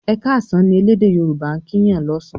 "e káàsán" ní ẹlẹdẹ yoruba' kín Yàn lọsan